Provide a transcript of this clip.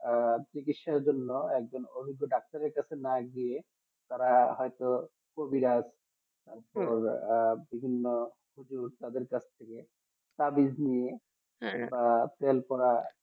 আর চিকিৎসার জন্য অভিজ্ঞ ডাক্তারের কাছে না গিয়ে তারা হয়তো কবিরাজ তার পরে বিভিন্ন কাছ থেকে তাবিজ নিয়ে আর সেটা plan করা